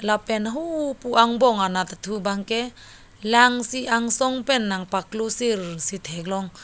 lapen hupu angbong anat thu bang ke lang si angsong pen nang paklo sir si theklong.